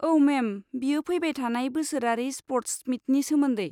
औ मेम, बेयो फैबाय थानाय बोसोरारि स्प'र्ट्स मिटनि सोमोन्दै।